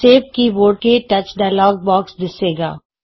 save keyboard ਕੇ touch dialog box ਦਿੱਸੇਗਾ